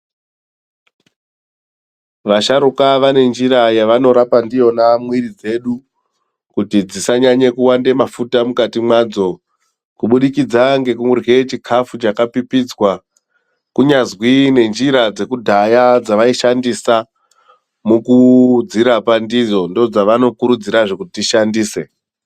Vasharuka vanenjira yavanorapa ndiyona mwiiri dzedu kuti dzisanyanye kuwande mafuta mukati mwadzo kuburikidza ngekurye chikafu chakapipidzwa. Kunyazwi nenjira dzekudhaya dzavaishandisa mukudzirapa ndidzo ndoodzavanokurudzirazve kuti tishandise.